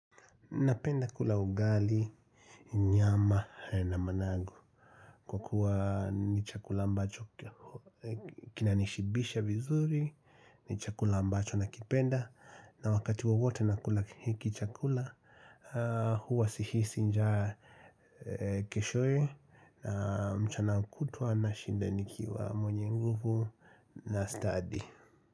Napenda kula ugali, nyama na managu kwa kuwa ni chakula ambacho kinanishibisha vizuri, ni chakula ambacho nakipenda na wakati wowote nakula hiki chakula huwa sihisi nja keshoe na mchana kutwa nashinda nikiwa mwenye nguvu na stadi.